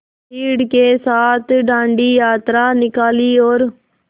भीड़ के साथ डांडी यात्रा निकाली और